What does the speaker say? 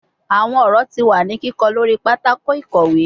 Awọn ọrọ ti wa ni kikọ lori patako ikowe